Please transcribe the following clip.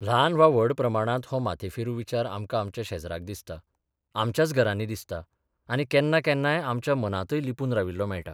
ल्हान वा व्हड प्रमाणांत हो माथेफिरू विचार आमकां आमच्या शेजराक दिसता, आमच्याच घरांनी दिसता आनी केन्नाकेन्नाय आमच्या मनांतय लिपून राविल्लो मेळटा.